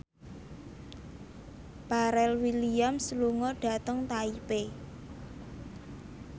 Pharrell Williams lunga dhateng Taipei